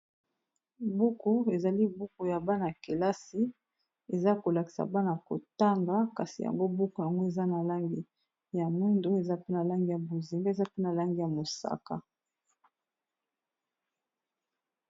Buku ezali buku ya bana kelasi eza kolakisa bana kotanga kasi yango buku yango eza na langi ya mwindu eza pe na langi ya bozi mbe eza pena langi ya mosaka.